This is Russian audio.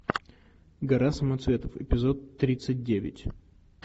гора самоцветов эпизод тридцать девять